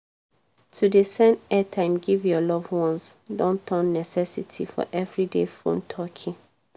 to dey send airtime give your loved onces don turn necesity for everyday phone talky